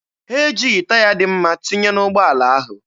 Ha ejighị taya dị mma tinye n'ụgbọala ahụ.